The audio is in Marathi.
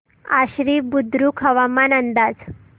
आश्वी बुद्रुक हवामान अंदाज